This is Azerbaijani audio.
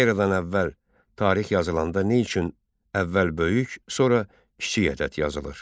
Eradan əvvəl tarix yazılanda nə üçün əvvəl böyük, sonra kiçik ədəd yazılır?